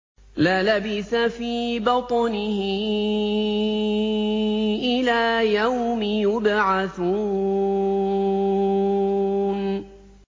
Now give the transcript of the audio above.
لَلَبِثَ فِي بَطْنِهِ إِلَىٰ يَوْمِ يُبْعَثُونَ